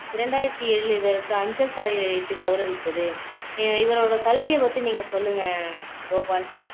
இரண்டாயரத்தி ஏழுல இவருக்கு அஞ்சல் தலை வைத்து கௌரவித்தது இவரோட கல்வியை பத்தி நீங்க சொல்லுங்க கோபால்